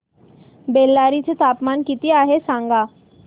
बेल्लारी चे तापमान किती आहे सांगा